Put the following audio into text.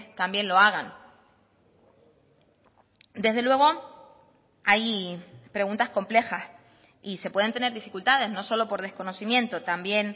también lo hagan desde luego hay preguntas complejas y se pueden tener dificultades no solo por desconocimiento también